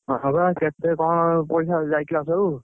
ହଁ ବା କେତେ କଣ ପଇସା ଯାଇଥିଲା ସବୁ?